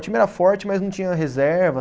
O time era forte, mas não tinha reserva.